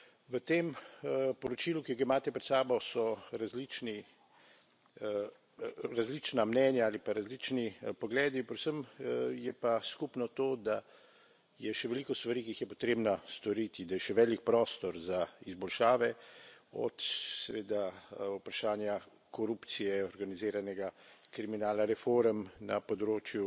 V tem poročilu, ki ga imate pred sabo, so različna mnenja ali pa različni pogledi, predvsem je pa skupno to, da je še veliko stvari, ki jih je potrebno storiti, da je še velik prostor za izboljšave, od seveda vprašanja korupcije, organiziranega kriminala, reform na področju